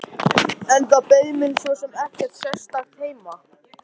En það beið mín svo sem ekkert sérstakt heima.